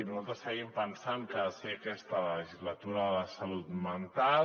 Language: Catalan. nosaltres seguim pensant que ha de ser aquesta la legislatura de la salut mental